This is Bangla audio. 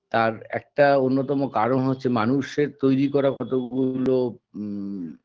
তার একটা অন্যতম কারণ হচ্ছে মানুষের তৈরি করা কতগুলো উ